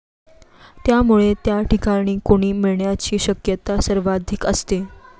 त्यामुळे त्या ठिकाणी कुणी मिळण्याची शक्यता सर्वाधिक असते.